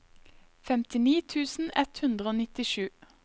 femtini tusen ett hundre og nittisju